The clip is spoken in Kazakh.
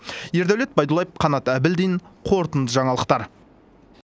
ердәулет байдуллаев қанат әбілдин қорытынды жаңалықтар